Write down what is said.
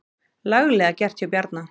Laglega gert hjá Bjarna.